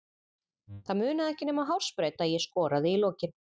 Það munaði ekki nema hársbreidd að ég skoraði í lokin.